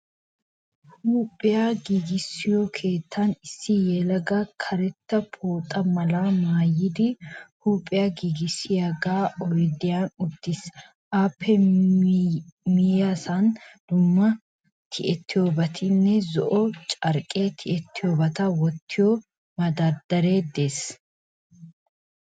Huuphphiyaa giigissiyoo keettaan issi yelagay karetta pooxxa malaa maayyidi huuphphiyaa giigissiyaga oydiyan uttiis. appe miyyessan dumma tiyettiyoobati, zo"o carqqenne tiyettiyoobata wottiyo madardaree de"ees.